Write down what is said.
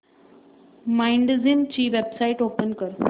Mindgym ची website open कर